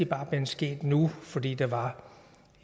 bare sket nu i for fordi der var